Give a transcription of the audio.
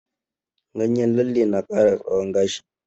Ganyen lalle na ƙara tsawon gashi.